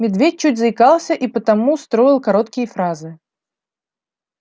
медведь чуть заикался и потому строил короткие фразы